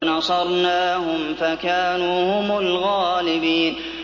وَنَصَرْنَاهُمْ فَكَانُوا هُمُ الْغَالِبِينَ